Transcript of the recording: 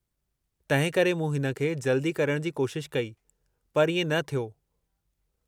तंहिं करे मूं हिन खे जल्दी करण जी कोशिश कई, पर इएं न थियो।